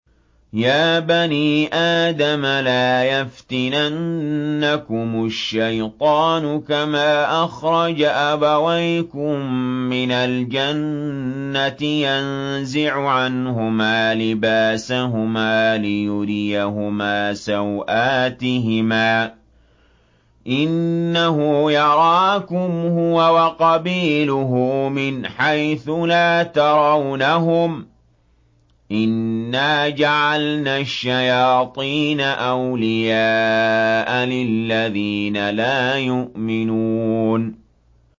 يَا بَنِي آدَمَ لَا يَفْتِنَنَّكُمُ الشَّيْطَانُ كَمَا أَخْرَجَ أَبَوَيْكُم مِّنَ الْجَنَّةِ يَنزِعُ عَنْهُمَا لِبَاسَهُمَا لِيُرِيَهُمَا سَوْآتِهِمَا ۗ إِنَّهُ يَرَاكُمْ هُوَ وَقَبِيلُهُ مِنْ حَيْثُ لَا تَرَوْنَهُمْ ۗ إِنَّا جَعَلْنَا الشَّيَاطِينَ أَوْلِيَاءَ لِلَّذِينَ لَا يُؤْمِنُونَ